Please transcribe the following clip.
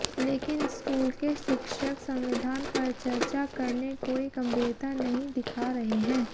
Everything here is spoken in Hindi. लेकिन स्कूल के शिक्षक संविधान पर चर्चा करने कोई गंभीरता नहीं दिखा रहे हैं